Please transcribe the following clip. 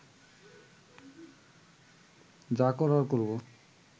যা করার করব